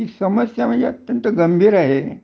समस्या म्हणजे खुप गंभीर आहे